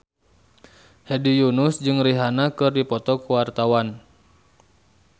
Hedi Yunus jeung Rihanna keur dipoto ku wartawan